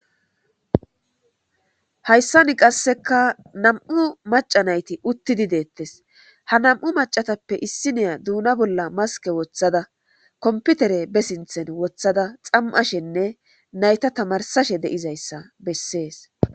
Hayissani qassika namu'u macca nayiti utidi detesi ha macca nayitape issiniya dona bolla masike wothada kompitere be sinitheni wothada xamiphashene nayita tamarisashe besesi